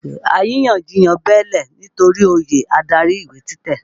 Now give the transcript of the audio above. Àrínyànjiyàn bẹ́ẹ́lẹ̀ nitori oyè adarí ìwé títẹ̀.